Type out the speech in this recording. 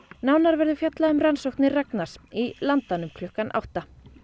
nánar verður fjallað um rannsóknir Ragnars í Landanum klukkan átta